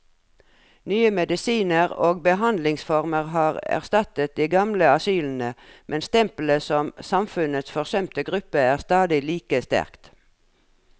Nye medisiner og behandlingsformer har erstattet de gamle asylene, men stempelet som samfunnets forsømte gruppe er stadig like sterkt.